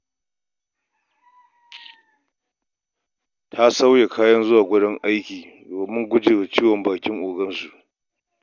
Ta sauya kayan zuwa wajen aiki domin guje wa ciwon bakin ogansu.